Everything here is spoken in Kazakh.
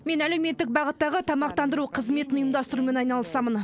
мен әлеуметтік бағыттағы тамақтандыру қызметін ұйымдастырумен айналысамын